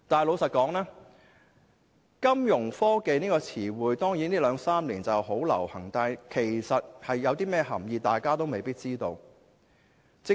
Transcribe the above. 老實說，金融科技這個詞彙在這兩三年十分流行，但大家未必知道當中的涵意。